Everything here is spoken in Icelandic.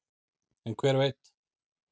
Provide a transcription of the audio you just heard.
en hver veit